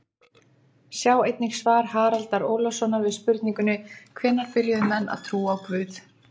Sjá einnig svar Haraldar Ólafssonar við spurningunni Hvenær byrjuðu menn að trúa á guð?